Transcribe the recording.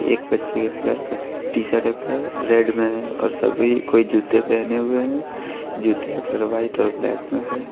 एक बच्चे के कलर का टी शर्ट है कलर रेड में है और सभी कोई जूते पहने हुए हैं जूते का कलर व्हाइट और ब्लैक में है।